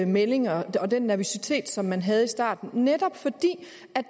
meldinger om den nervøsitet som man havde i starten netop fordi